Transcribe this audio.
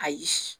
Ayi